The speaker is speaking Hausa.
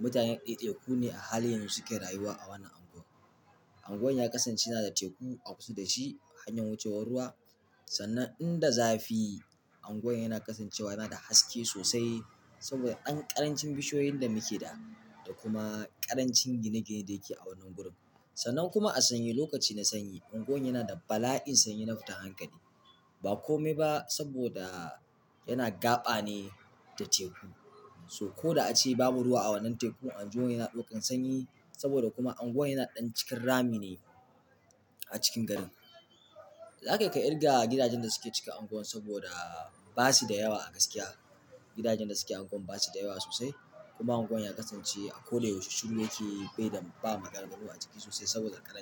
Mutanen ɗaiɗaiku ne a halin yanzu suke rayuwa a wannan anguwan. Anguwan ya kasance yana da teku a kusa da shi hanyan wucewar ruwa. Sannan in da zafi anguwan yana kasancewa yana da haske sosai saboda ɗan ƙarancin bishiyoyin da muke da, da kuma ƙarancin gine-ginen da yake a wannan gurin. Sannan kuma a sanyi, lokaci na sanyi unguwar yana da bala'in sanyi na fita hankali. Ba kome ba saboda yana gaba ne da teku. So ko da ace babu ruwa a wannan tekun, anguwan yana ɗaukan sanyi saboda kuma anguwan yana ɗan cikin rami ne a cikin garin. Za kai ka ƙirga gidajen da suke cikin anguwan saboda ba su da yawa a gaskiya. Gidajen da suke anguwan ba su da yawa sosai kuma anguwan ya kasance a koda yaushe shiru yake bai da ba maganannu a ciki sosai saboda ƙaran.